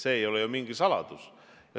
See ei ole ju mingi saladus.